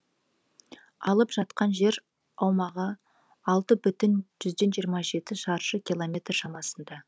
алып жатқан жер аумағы алты бүтін жүзден жиырма жеті шаршы киломметр шамасында